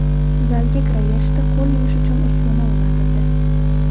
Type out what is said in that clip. Zalga kiraverishda qo‘l yuvish uchun uskuna o‘rnatildi.